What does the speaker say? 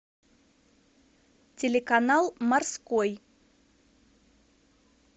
телеканал морской